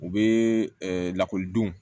U bɛ lakɔlidenw